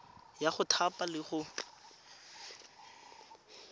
ya go thapa le go